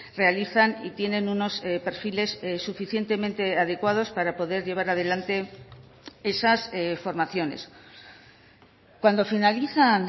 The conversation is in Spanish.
realizan y tienen unos perfiles suficientemente adecuados para poder llevar adelante esas formaciones cuando finalizan